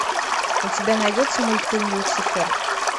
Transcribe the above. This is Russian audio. у тебя найдется мультфильм люцифер